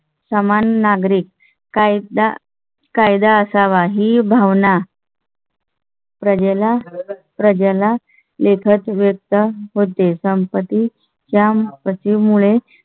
समान नागरी कायदा कायदा असावा ही भावन प्रजे ला प्रजा लेखात वेधले होते. संपत्ती च्या पश्चिम मुळे